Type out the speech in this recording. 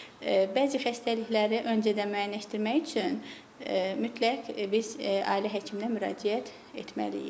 Bəzi xəstəlikləri öncədən müəyyənləşdirmək üçün mütləq biz ailə həkiminə müraciət etməliyik.